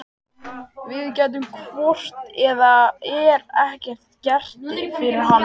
Við gætum hvort eð er ekkert gert fyrir hann.